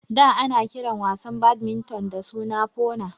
Da ana kiran wasan badminton da suna Foona